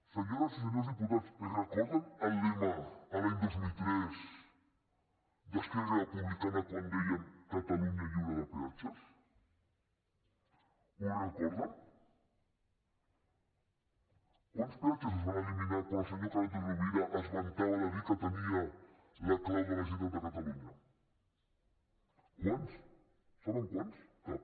senyores i senyors diputats recorden el lema l’any dos mil tres d’esquerra republicana quan deien catalunya lliure de peatges ho recorden quants peatges es van eliminar quan el senyor carod rovira es vantava de dir que tenia la clau de la generalitat de catalunya quants saben quants cap